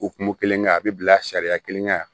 Okumu kelen kɛ a bi bila sariya kelen na